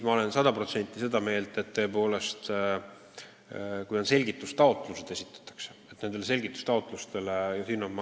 Ma olen sada protsenti seda meelt, et kui esitatud on selgitustaotlusi, siis tuleb neile anda sisuline vastus.